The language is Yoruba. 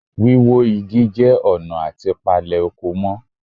Wíwó Igi jẹ́ ọ̀nà àti palè oko mọ́